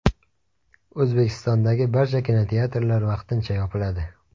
O‘zbekistondagi barcha kinoteatrlar vaqtincha yopiladi.